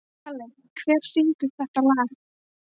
Kalli, hver syngur þetta lag?